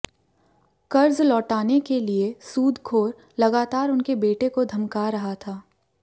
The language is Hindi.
कर्ज लौटाने के लिए सूदखोर लगातार उनके बेटे को धमका रहा था